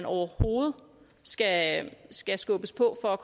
overhovedet skal skal skubbes på for at